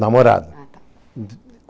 Namorada. Ata.